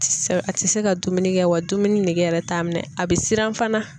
A ti se ka dumuni kɛ wa dumuni nege yɛrɛ t'a minɛ a bi siran fana.